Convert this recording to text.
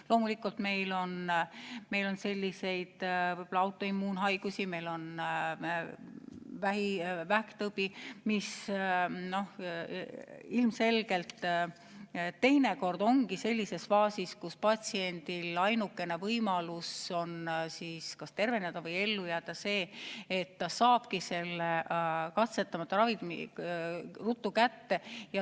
Loomulikult, meil on autoimmuunhaigusi, meil on vähktõbi, mis teinekord on sellises faasis, kus patsiendi ainukene võimalus kas terveneda või ellu jääda on siis, kui ta saab katsetamata ravimi ruttu kätte.